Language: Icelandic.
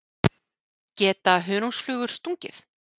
Geta hunangsflugur stungið?